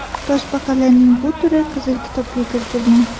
Toshbaqalarning bu turi Qizil kitobga kiritilgan.